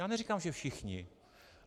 Já neříkám, že všichni.